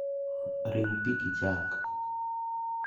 Riu pii gi chak